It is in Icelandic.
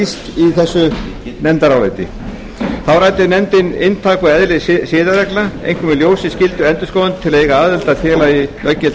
í þessu nefndaráliti þá ræddi nefndin um inntak og eðli siðareglna einkum í ljósi skyldu endurskoðenda til að eiga aðild að félagi löggiltra